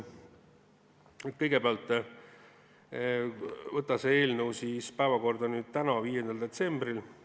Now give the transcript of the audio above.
Kõigepealt otsustati saata see eelnõu päevakorda tänaseks, 5. detsembriks.